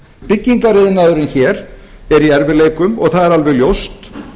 byggingariðnaðurinn hér er í erfiðleikum og það er álver ljóst